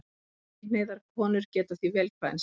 Samkynhneigðar konur geta því vel kvænst.